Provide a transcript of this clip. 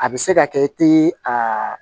A bɛ se ka kɛ i tɛ a